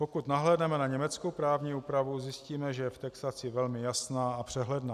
Pokud nahlédneme na německou právní úpravu, zjistíme, že je v textaci velmi jasná a přehledná.